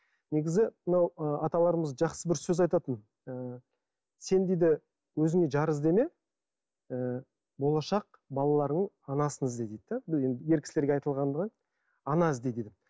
негізі мынау ы аталарымыз жақсы бір сөз айтатын ы сен дейді өзіңе жар іздеме ы болашақ балаларыңның анасын ізде дейді де ер кісілерге айтылған ғой ана ізде деп